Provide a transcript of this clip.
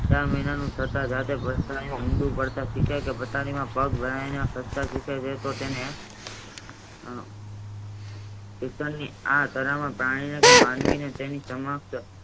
ત્રણ મહિનાનું સાત ધારક હિન્દૂ પારસત સિખાય છે તથા તેમાં પેડ વયના તો તેને પોતાની આ કરબનો પ્રાણીને તેની સમક્ષ